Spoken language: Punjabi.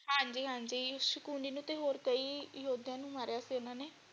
ਸ਼ਕੁਨੀ ਨੂੰ ਤੇ ਹੋਰ ਕਈ ਯੋਧਿਆਂ ਨੂੰ ਮਾਰਿਆ ਸੀ ਓਹਨਾ ਨੇ।